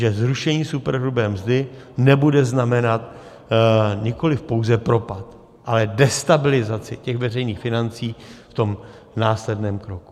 Že zrušení superhrubé mzdy nebude znamenat nikoliv pouze propad, ale destabilizaci těch veřejných financí v tom následném kroku.